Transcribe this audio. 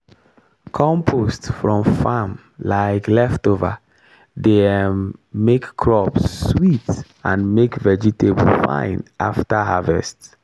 compost from farm um leftover dey um make crops sweet and make vegetable fine after harvest.